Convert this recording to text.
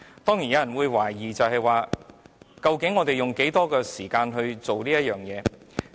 當然有人會懷疑，究竟我們應用多少時間處理這事情？